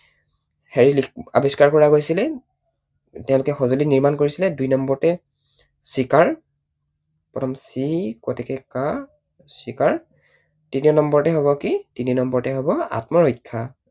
হেৰি আৱিষ্কাৰ কৰা গৈছিল। তেঁওলোকে সঁজুলি নিৰ্মাণ কৰিছিলে। দুই নম্বৰতে চিকাৰ। প্ৰথমতে চি কত আ কাৰে কা চিকাৰ। তিনি নম্বৰতে হব কি তিনি নম্বৰতে হব আত্মৰক্ষা।